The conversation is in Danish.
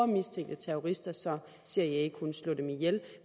mistænkte terrorister så cia kunne slå dem ihjel